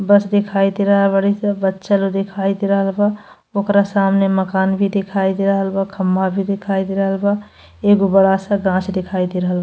बस दिखाई दे रहल बाड़ी स बच्चा लोग दिखाई दे रहल बा। ओकरा सामने मकान भी दिखाई दे रहल बा। खम्बा भी दिखाई दे रहल बा। एगो बड़ा सा गाछ दिखाई दे रहल --